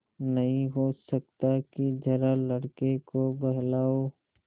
नहीं हो सकता कि जरा लड़के को बहलाओ